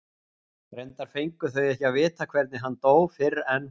Reyndar fengu þau ekki að vita hvernig hann dó fyrr en